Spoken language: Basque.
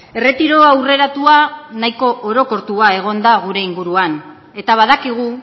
erretiro aurreratua nahiko orokortua egon da gure inguruan eta badakigu